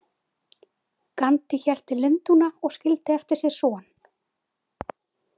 Gandhi hélt til Lundúna og skyldi eftir sig son.